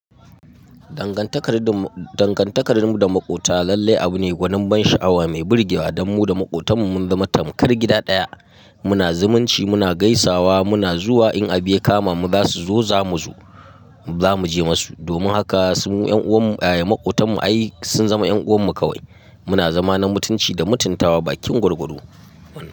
Dangantakar mu da maƙota lallai abu ne gwanin ban sha'awa mai burge wa. Dan mu da maƙotan mu mun zama tamkar gida ɗaya. Muna zumunci, muna gaisawa, muna zuwa in abi ya kama mu zasu zo zamu zo. Zamu je masu. Domin haka su yan'uwan mu, ai maƙotan mu ai sun zama 'yan uwan mu kawai. Muna zama na mutunci da mutuntawa, ba kin gurgudu.